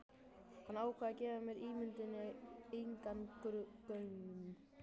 Hann ákvað að gefa ímynduninni engan gaum.